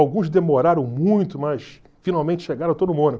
Alguns demoraram muito, mas finalmente chegaram, eu estou no Mônaco.